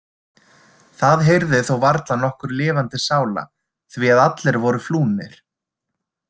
Það heyrði þó varla nokkur lifandi sála því að allir voru flúnir.